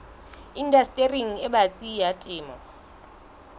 indastering e batsi ya temo